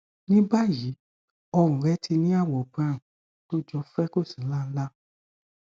ní báyìí ọrùn rẹ ti ní àwọ brown tó jọ freckles nláńlá